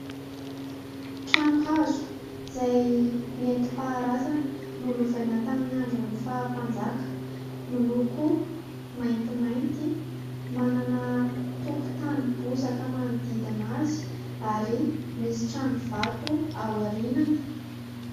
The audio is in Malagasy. Trano hazo izay nentimpaharazana nolovaina tamin'ny andron'ny faha mpanjaka ; miloko maintimainty, manana tokotany bozaka manodidina azy ary misy trano vato ao aorinany.